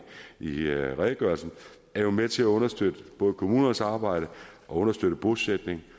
i redegørelsen er jo med til at understøtte både kommunernes arbejde og understøtte bosætning